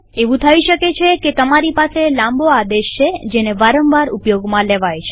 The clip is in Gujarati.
એવું થઇ શકે છે તમારી પાસે લાંબો આદેશ છે જેને વારંવાર ઉપયોગમાં લેવાય છે